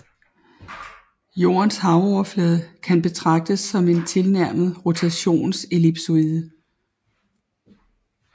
Jordens havoverflade kan betraktes som en tilnærmet rotationsellipsoide